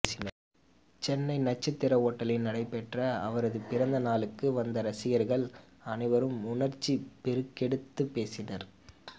சென்னை நட்சத்திர ஒட்டலின் நடைபெற்ற அவரது பிறந்த நாளுக்கு வந்த ரசிகர்கள் அனைவரும் உணர்ச்சி பெருக்கெடுத்து பேசினர்